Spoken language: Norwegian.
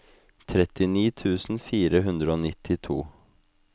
trettini tusen fire hundre og nittito